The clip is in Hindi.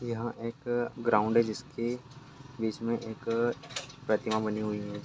यहाँ एक अ ग्राउन्ड है जिसके बीच में एक अ प्रतिमा बनी हुई है।